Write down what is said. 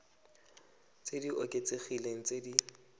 tse di oketsegileng tse di